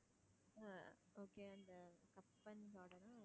ஆஹ் okay அந்த Cubbon garden ஆ